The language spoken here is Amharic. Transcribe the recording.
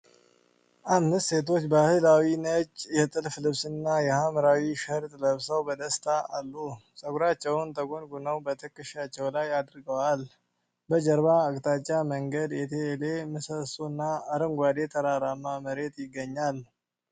አምስት ሴቶች ባህላዊ ነጭ የጥልፍ ልብስና የሐምራዊ ሸርጥ ለብሰው በደስታ አሉ። ፀጉራቸውን ተጎንጉነው በትከሻቸው ላይ አድርገዋል። በጀርባ አቅጣጫ መንገድ፣ የቴሌ ምሰሶ እና አረንጓዴ ተራራማ መሬት ይገኛሉ።